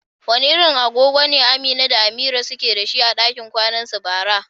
Wani irin agogo ne Amina da Amira suke dashi a dakin kwanansu bara?